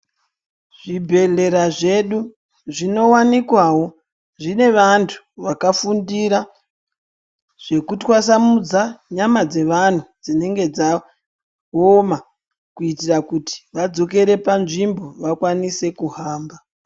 Zvibhedhlera zvedu zvinowanikwawo zvine vantu vakafundira zvekutwasamudza nyama dzevana dzinenge dzaoma kuitira kuti vadzokere panzvimbo vakwanise kuhamba .